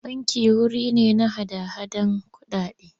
Banki wuri ne na hada-hadar kuɗaɗe.